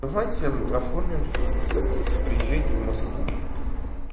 давайте оформим собственно секс приезжайте в москву